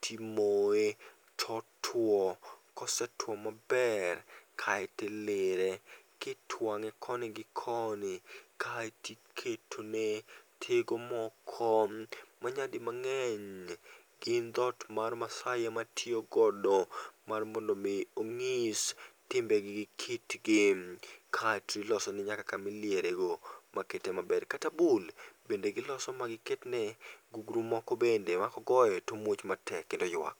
ti imoye, to otwo osetwo ma ber kaito ileire ki itwange konui gi koni ti iketo ne tigi moko ma nya dhi mangeny gin dhot mar maasai ema tiyo godo mar mondo gi ng'is timbe gi kit gi. Ka ti ilose ne nyaka ka ma iliere go ma kete ma ber. Kata bul ne gi loso gi ma gugru moko bende ma ko goyo to owuok ma ywak. Gugrumoko